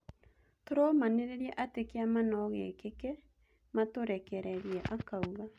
"Tũromanĩrĩria atĩ-kĩama no-gĩkĩke matũrekererie," akauga